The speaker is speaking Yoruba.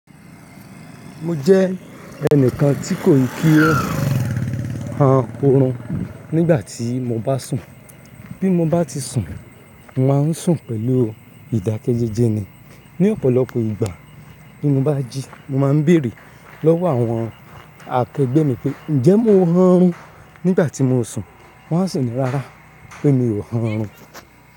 Mo jẹ́ ẹnìkan tí kò kí ó on ọrùn nígbà tí mo bá sùn. Bí mo bá ti sùn, màá n sùn pẹ̀lú ìdákẹ́jẹ́jẹ́ ni. Ni ọ̀pọ̀lọpọ̀ ìgbà tí mo bá jí, mo máa ń bèèrè lọ́wọ́ àwọn akẹgbé mi pé, ǹjẹ́ mo hàn run nígbà tí mo sùn? Wọn a sì ní, rárá pé mi ò hàn run.